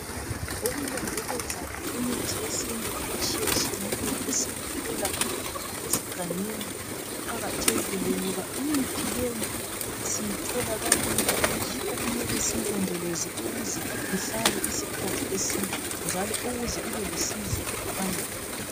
Ukulondoloza imithi yesintu etshiyetshiyeneyo esiyithola ezigangeni kuqakathekile ngoba, imithi leyi siyithola kalula, yikho kumele siyilondoloze ukuze ihlale isikhathi eside njalo ukuze ibelusizo phambili.